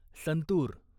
santoor